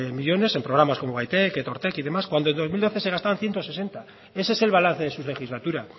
millónes en programas como gaitek etortek y demás cuando en dos mil doce se gastaron ciento sesenta ese es el balance de su legislatura